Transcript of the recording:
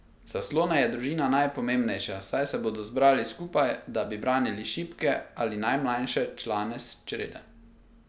Za slone je družina najpomembnejša, saj se bodo zbrali skupaj, da bi branili šibke ali najmlajše člane črede.